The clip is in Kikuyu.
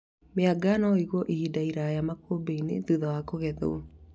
Mĩanga no ĩigwo ihinda iraya makũmbĩ-inĩ thutha wa kũgethwo